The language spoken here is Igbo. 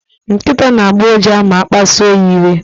Nkịta na-agbọ ụja ma a kpasuru ya iwe.